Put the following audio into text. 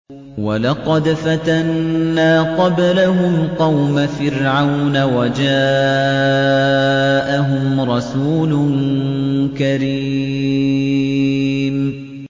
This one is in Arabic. ۞ وَلَقَدْ فَتَنَّا قَبْلَهُمْ قَوْمَ فِرْعَوْنَ وَجَاءَهُمْ رَسُولٌ كَرِيمٌ